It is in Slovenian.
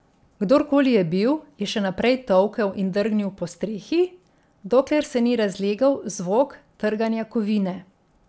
Kdorkoli je bil, je še naprej tolkel in drgnil po strehi, dokler se ni razlegel zvok trganja kovine.